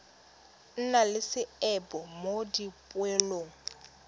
nna le seabe mo dipoelong